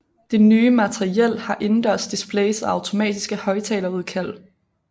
Det nye materiel har indendørsdisplays og automatiske højtalerudkald